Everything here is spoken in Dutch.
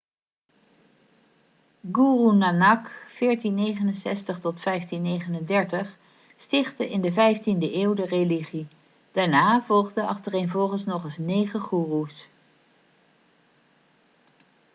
guru nanak 1469-1539 stichtte in de 15de eeuw de religie. daarna volgden achtereenvolgens nog eens negen goeroes